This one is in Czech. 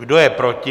Kdo je proti?